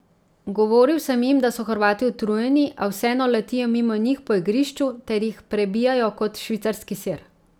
Govoril sem jim, da so Hrvati utrujeni, a vseeno letijo mimo njih po igrišču ter jih prebijajo kot švicarski sir.